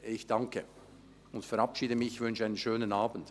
Ich bedanke, verabschiede mich und wünsche einen schönen Abend.